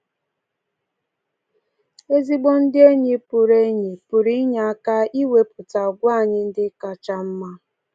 Ezigbo ndị enyi pụrụ enyi pụrụ inye aka n’iwepụta àgwà anyị ndị kacha mma.